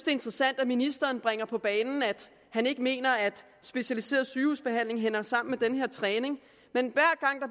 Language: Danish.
interessant at ministeren bringer på banen at han ikke mener at specialiseret sygehusbehandling hænger sammen med den her træning men